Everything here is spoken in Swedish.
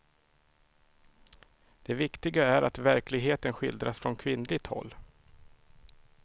Det viktiga är att verkligheten skildras från kvinnligt håll.